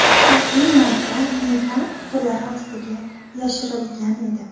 Xavfli modda meva qutilari ostiga yashirilgan edi.